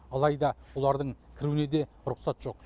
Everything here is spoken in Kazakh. алайда олардың кіруіне де рұқсат жоқ